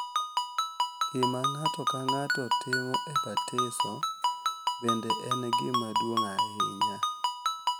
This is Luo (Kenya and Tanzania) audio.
Gima ng’ato ka ng’ato timo e batiso bende en gima duong’ ahinya.